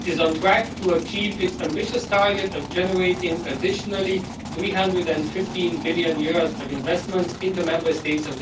It is on track to achieve its ambitious target of generating an additional EUR 315 billion of investment in the EU Member States.